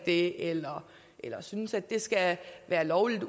det eller at synes at det skal være lovligt